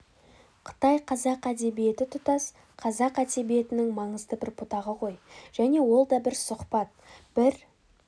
қытай қазақ әдебиеті тұтас қазақ әдебиетінің маңызды бір бұтағы ғой және ол да бір сұхбат бір